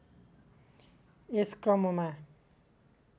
यस क्रममा